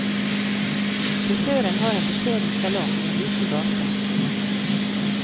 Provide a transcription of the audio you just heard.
Frisøren har en beskjeden salong i en liten gate.